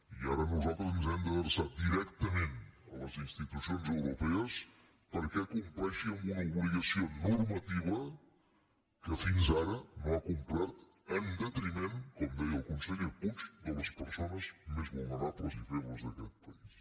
i ara nosaltres ens hem d’adreçar directament a les institucions europees perquè compleixi amb una obligació normativa que fins ara no ha complert en detriment com deia el conseller puig de les persones més vulnerables i febles d’aquest país